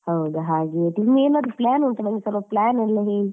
ಹೌದು ಹಾಗೆ ನಿಂದ್ ಏನಾದ್ರು plan ಉಂಟಾ ನಂಗೆ ಸ್ವಲ್ಪ plan ಎಲ್ಲ ಹೇಳಿ